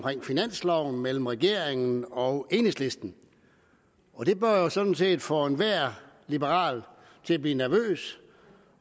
finansloven mellem regeringen og enhedslisten og det bør jo sådan set få enhver liberal til at blive nervøs